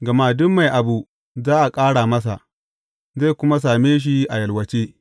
Gama duk mai abu za a ƙara masa, zai kuma same shi a yawalce.